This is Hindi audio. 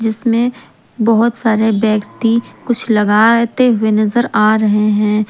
जिसमें बहोत सारे व्यक्ति कुछ लगाते हुए नजर आ रहे हैं।